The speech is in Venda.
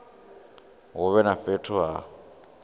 hu vhe na fhethu ha